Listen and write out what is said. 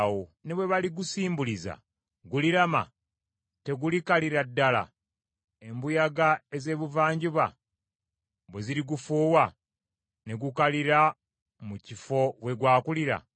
Ne bwe baligusimbuliza, gulirama? Tegulikalira ddala embuyaga ez’Ebuvanjuba bwe zirigufuuwa, ne gukalira mu kifo we gwakulira?’ ”